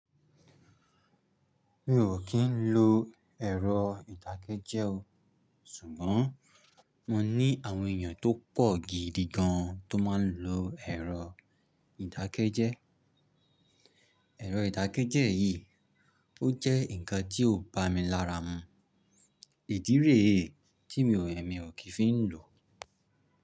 Mi ò kì ń lo ẹ̀rọ ìdákẹ́jẹ́ o. Ṣùgbọ́n mo ní àwọn èèyàn tó pọ̀ gidi gan tó máa ń lo ẹ̀rọ ìdákẹ́jẹ́. Ẹ̀rọ ìdákẹ́jẹ́ yìí ó jẹ́ nǹkan tí ó ń bá mi lára mu. Ìdí rẹ̀ e, tí èmí ò kì í fi ń lò.